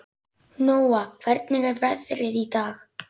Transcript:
Nóa, hvernig er veðrið í dag?